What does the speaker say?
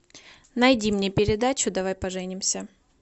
найди мне передачу давай поженимся